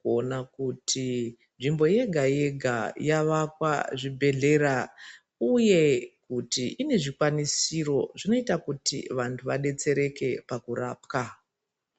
kuona kuti nzvimbo yega-yega yavakwa zvibhedhlera, uye kuti ine zvikwanisiro zvinoita kuti vantu vabetsereke pakurapwa.